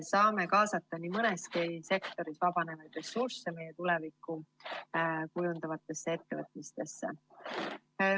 Saame nii mõneski sektoris vabanevaid ressursse kaasata meie tulevikku kujundavatesse ettevõtmistesse.